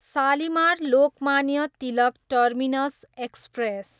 Shalimar, Lokmanya Tilak terminus express